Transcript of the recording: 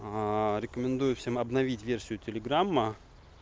рекомендую всем обновить версию телеграма